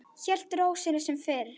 Hélt ró sinni sem fyrr.